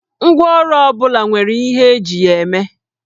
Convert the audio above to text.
Ngwáọrụ ọ bụla nwere ihe eji ya eme